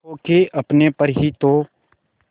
खो के अपने पर ही तो